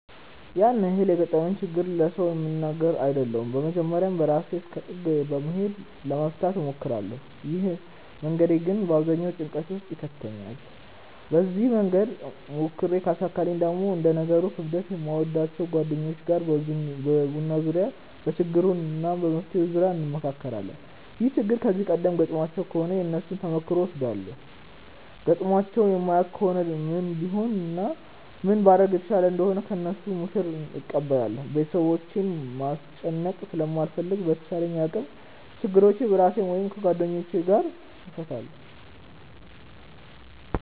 ያን ያህል የገጠመኝን ችግር ለሰው የምናገር አይደለሁም በመጀመርያ በራሴ እስከ ጥግ በመሄድ ለመፍታት እሞክራለው። ይህ መንገዴ ግን በአብዛኛው ጭንቀት ውስጥ ይከተኛል። በዚህ መንገድ ሞክሬ ካልተሳካልኝ ደግሞ እንደ ነገሩ ክብደት ከምወዳቸው ጓደኞቼ ጋር በቡና ዙርያ በችግሩ እና በመፍትሄው ዙርያ እንመክራለን። ይህ ችግር ከዚህ ቀደም ገጥሟቸው ከሆነ የነሱን ተሞክሮ እወስዳለው ገጥሟቸው የማያውቅ ከሆነ ምን ቢሆን እና ምን ባደርግ የተሻለ እንደሆነ ከነሱ ምክርን እቀበላለው። ቤተሰቦቼን ማስጨነቅ ስለማልፈልግ በተቻለኝ አቅም ችግሮቼን በራሴ ወይም ከጓደኞቼ ጋር እፈታለው።